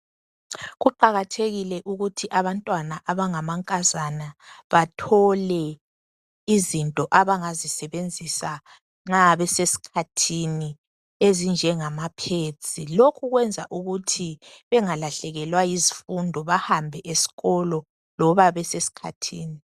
Kuqakathekile ukuthi abantwana abangamankazana bathole izinto abangazisebenzisa nxa besesikhathini ezinjengamapads. Lokhu kwenza ukuthi bengalahlekelwa yizifundo bahambe esikolo loba besesikhathini.